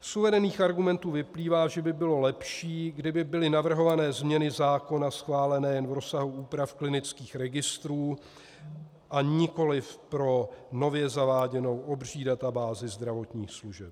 Z uvedených argumentů vyplývá, že by bylo lepší, kdyby byly navrhované změny zákona schváleny jen v rozsahu úprav klinických registrů, a nikoliv pro nově zaváděnou obří databázi zdravotních služeb.